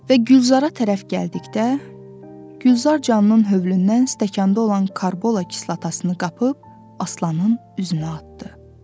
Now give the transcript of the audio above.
Və Gülzara tərəf gəldikdə, Gülzar canının hövlündən stəkanda olan karbola kislatasını qapıb Aslanın üzünə atdı.